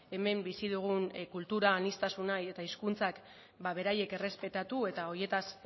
hemen bizi dugun kultura aniztasuna eta hizkuntzak beraiek errespetatu eta horietaz